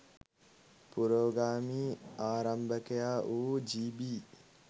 පුරෝගාමී ආරම්භකයා වූ ජී.බී.